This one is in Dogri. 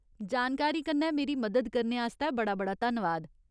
जानकारी कन्नै मेरी मदद करने आस्तै बड़ा बड़ा धन्नवाद।